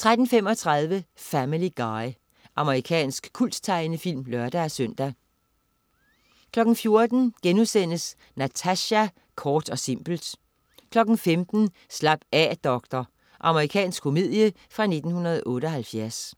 13.35 Family Guy. Amerikansk kulttegnefilm (lør-søn) 14.00 Natasja, kort og simpelt* 15.00 Slap af doktor. Amerikansk komedie fra 1978